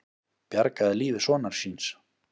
Bjargaði lífi sonar síns